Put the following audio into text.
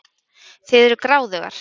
Þið eruð gráðugar.